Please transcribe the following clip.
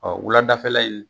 wuladafɛla in